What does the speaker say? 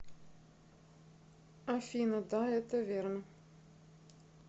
афина да это верно